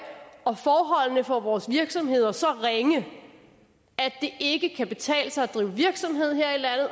og forholdene for vores virksomheder så ringe at det ikke kan betale sig at drive virksomhed